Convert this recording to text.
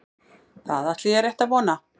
Það ætla ég rétt að vona